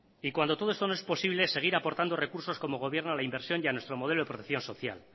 y cuando todo esto no es posible seguir aportando recursos como gobierno a la inversión y a nuestro modelo de protección social